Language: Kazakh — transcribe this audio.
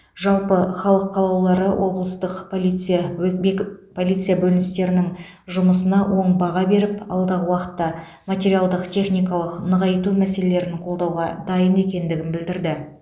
жалпы халық қалаулылары облыстық полиция өт бекіп полиция бөліністерінің жұмысына оң баға беріп алдағы уақытта материалдық техникалық нығайту мәселелерін қолдауға дайын екендігін білдірді